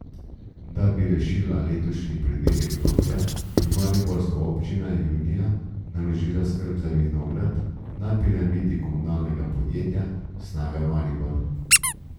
Da bi rešila letošnji pridelek grozdja, je mariborska občina junija naložila skrb za vinograd na Piramidi komunalnemu podjetju Snaga Maribor.